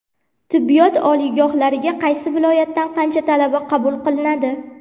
Tibbiyot oliygohlariga qaysi viloyatdan qancha talaba qabul qilinadi?.